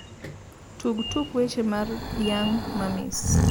tug tuk weche mar young Mummy`s